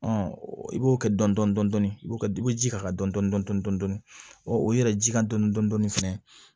i b'o kɛ dɔndɔni i bɛ ji k'a kan dɔɔnin dɔɔnin o yɛrɛ ji kan dɔn fɛnɛ